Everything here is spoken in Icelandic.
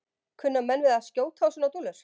Kunna menn við að skjóta á svona dúllur?